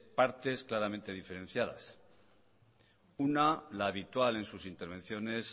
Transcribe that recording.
partes claramente diferenciadas una la habitual en sus intervenciones